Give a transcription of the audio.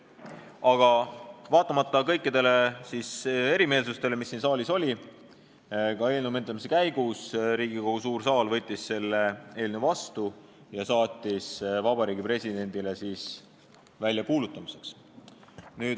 Aga vaatamata kõikidele erimeelsustele, mis siin saalis olid ka eelnõu menetlemise käigus, võttis Riigikogu suur saal selle eelnõu vastu ja saatis Vabariigi Presidendile väljakuulutamiseks.